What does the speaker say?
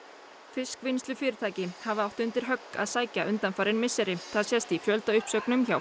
fiskvinnslufyrirtæki hafa átt undir högg að sækja undanfarin misseri það sést í fjöldauppsögnum hjá